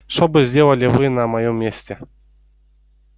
что бы сделали вы на моем месте